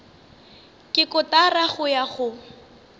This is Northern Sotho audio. ke kotara go ya go